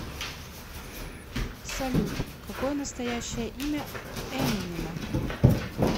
салют какое настоящее имя эминема